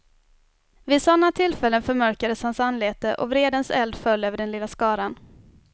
Vid sådana tillfällen förmörkades hans anlete och vredens eld föll över den lilla skaran.